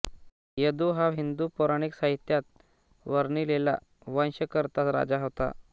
यदु हा हिंदू पौराणिक साहित्यात वर्णिलेला वंशकर्ता राजा होता